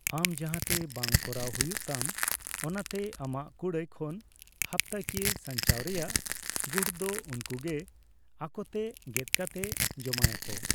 ᱟᱢ ᱡᱟᱦᱟᱸᱛᱮ ᱵᱟᱝ ᱠᱚᱨᱟᱣ ᱦᱩᱭᱩᱜ ᱛᱟᱢ, ᱚᱱᱟᱛᱮ ᱟᱢᱟᱜ ᱠᱩᱲᱟᱹᱭ ᱠᱷᱚᱱ ᱦᱟᱯᱛᱟᱠᱤᱭᱟᱹ ᱥᱟᱧᱪᱟᱣ ᱨᱮᱭᱟᱜ ᱜᱩᱴ ᱫᱚ ᱩᱱᱠᱚ ᱜᱮ ᱟᱠᱚᱛᱮ ᱜᱮᱫ ᱠᱟᱛᱮ ᱡᱚᱢᱟᱭ ᱟᱠᱚ ᱾